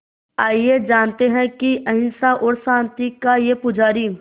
आइए जानते हैं कि अहिंसा और शांति का ये पुजारी